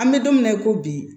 An bɛ don min na i ko bi